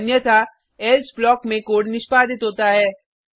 अन्यथा else block में code निष्पादित होता है